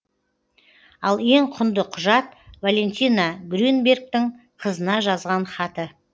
ал ең құнды құжат валентина грюнбергтің қызына жазған хаты